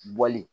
Bɔli